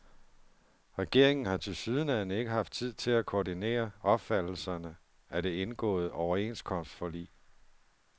Regeringen har tilsyneladende ikke haft tid til at koordinere opfattelserne af det indgåede overenskomstforlig.